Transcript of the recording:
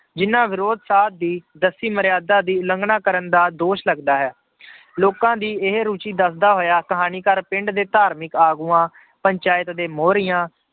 ਜਿਹਨਾਂ ਵਿਰੋਧ ਸਾਧ ਦੀ ਦੱਸੀ ਮਰਿਆਦਾ ਦੀ ਉਲੰਘਣਾ ਕਰਨ ਦਾ ਦੋਸ਼ ਲੱਗਦਾ ਹੈ ਲੋਕਾਂ ਦੀ ਇਹ ਰੁੱਚੀ ਦੱਸਦਾ ਹੋਇਆ ਕਹਾਣੀਕਾਰ ਪਿੰਡ ਦੇ ਧਾਰਮਿਕ ਆਗੂਆਂ, ਪੰਚਾਇਤ ਦੇ ਮੋਹਰੀਆਂ